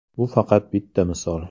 Bu faqat bitta misol.